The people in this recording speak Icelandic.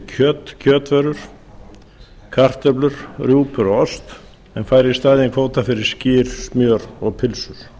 kjöt kjötvörur kartöflur rjúpur og ost en fær í staðinn kvóta fyrir skyr smjör og pylsur